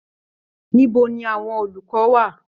Níbo ní àwọn olùkọ wà?